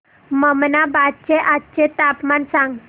ममनाबाद चे आजचे तापमान सांग